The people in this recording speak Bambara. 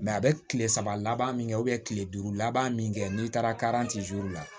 a bɛ kile saba laban min kɛ kile duuru laban min kɛ n'i taara la